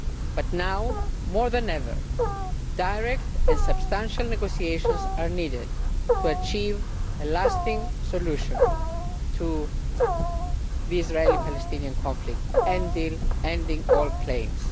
But now, more than ever, direct and substantial negotiations are needed to achieve a lasting solution to the Israeli Palestinian conflict, ending all claims.